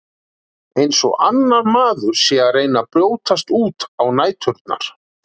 Eins og annar maður sé að reyna að brjótast út á næturnar.